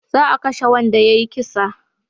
Za a kashe wanda ya yi kisa